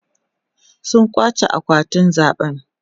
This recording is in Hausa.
sun kwace akwatin zaɓe